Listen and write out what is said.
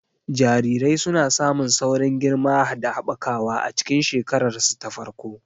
Jarirai suna samun saurin girma da haɓakawa a cikin shekararsu ta farko.